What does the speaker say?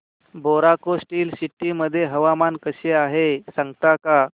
Bokaro Steel City मध्ये हवामान कसे आहे सांगता का